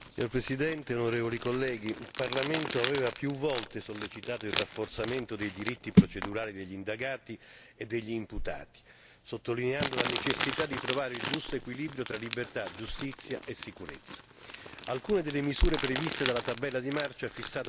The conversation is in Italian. Signor Presidente, onorevole colleghi, il Parlamento aveva più volte sollecitato il rafforzamento dei diritti procedurali degli indagati e degli imputati, sottolineando la necessità di trovare il giusto equilibrio tra libertà, giustizia e sicurezza.